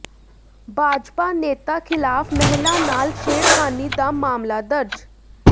ਭਾਜਪਾ ਨੇਤਾ ਖਿਲਾਫ ਮਹਿਲਾ ਨਾਲ ਛੇੜਖਾਨੀ ਦਾ ਮਾਮਲਾ ਦਰਜ